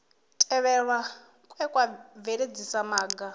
tevhelwa kwe kwa bveledzisa maga